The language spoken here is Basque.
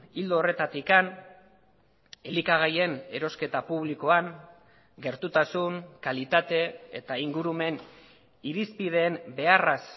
ildo horretatik elikagaien erosketa publikoan gertutasun kalitate eta ingurumen irizpideen beharraz